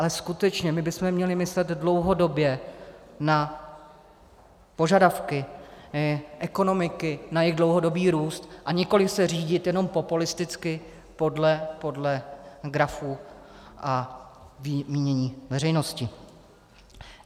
Ale skutečně, my bychom měli myslet dlouhodobě na požadavky ekonomiky, na jejich dlouhodobý růst, a nikoliv se řídit jenom populisticky podle grafů a mínění veřejnosti.